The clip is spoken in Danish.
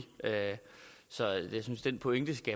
så jeg synes den pointe